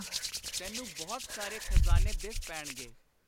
ਤੈਨੂੰ ਬਹੁਤ ਸਾਰੇ ਖ਼ਜ਼ਾਨੇ ਦਿਸ ਪੈਣਗੇ।